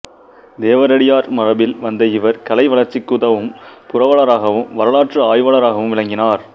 தேவரடியார் மரபில் வந்த இவர் கலை வளர்ச்சிக்குதவும் புரவலராகவும் வரலாற்று ஆய்வாளராகவும் விளங்கினார்